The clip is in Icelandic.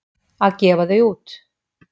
Að gefa þau út!